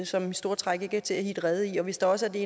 som i store træk ikke er til at hitte rede i og hvis der også er det